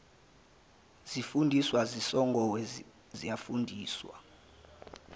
zifundiswa zasongoye izifundiswa